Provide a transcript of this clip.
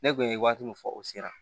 Ne kun ye waati min fɔ o sera